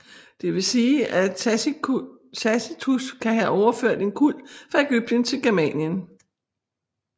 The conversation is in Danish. Det vil sige at Tacitus kan have overført en kult fra Ægypten til Germanien